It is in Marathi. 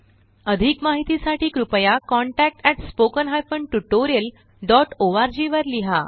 अधिक माहिती साठी कृपया contactspoken tutorialorg वर लिहा